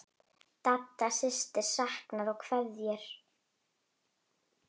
Dadda systir saknar og kveður.